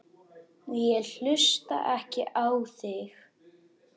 Ég hlusta ekki á þig.